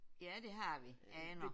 Ja det har vi. Aner